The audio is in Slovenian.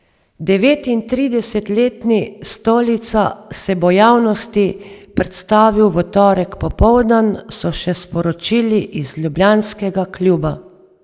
Devetintridesetletni Stolica se bo javnosti predstavil v torek popoldan, so še sporočili iz ljubljanskega kluba.